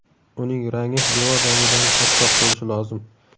Uning rangi devor rangidan ochroq bo‘lishi lozim.